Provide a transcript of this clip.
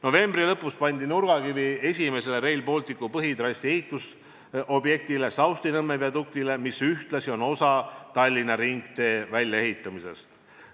Novembri lõpus pandi nurgakivi esimesele Rail Balticu põhitrassi ehitusobjektile, Saustinõmme viaduktile, mis ühtlasi on osa Tallinna ringtee väljaehitusest.